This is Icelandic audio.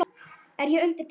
er ég undir pressu?